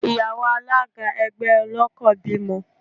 Ìyàwó Alága ẹgbẹ́ ọlọ́kọ̀ bímọ.